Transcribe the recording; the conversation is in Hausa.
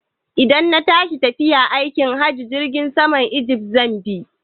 Idan na tashi tafiya aikin hajji, Jirgin saman ijift zan bi.